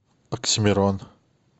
оксимирон